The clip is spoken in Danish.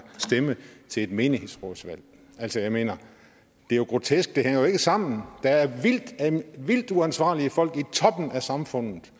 stemme til et menighedsrådsvalg altså jeg mener det er jo grotesk det hænger jo ikke sammen der er vildt uansvarlige folk i toppen af samfundet